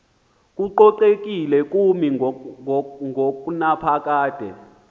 kococekile kumi ngonaphakade